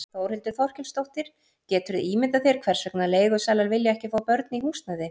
Þórhildur Þorkelsdóttir: Geturðu ímyndað þér hvers vegna leigusalar vilja ekki fá börn í húsnæði?